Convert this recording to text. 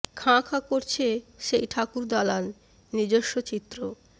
খাঁ খাঁ করছে সেই ঠাকুরদালান নিজস্ব চিত্র